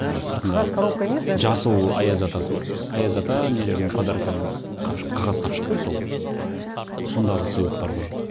жаңағы сыртында қағаз коробка емес даже жасыл аяз атасы бар аяз ата нелердің қапшықта қағаз қағаз қапшық қой сол иә сондағы сыйлықтар ғой